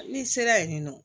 N'i sera yen nɔ